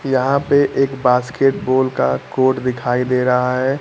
यहां पे एक बास्केटबॉल का कोट दिखाई दे रहा है।